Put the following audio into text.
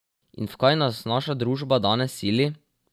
In v kaj nas naša družba danes sili?